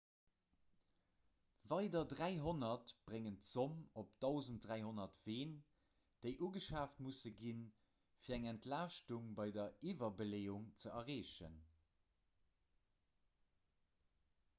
weider 300 bréngen d'zomm op 1 300 ween déi ugeschaaft musse ginn fir eng entlaaschtung bei der iwwerbeleeung ze erreechen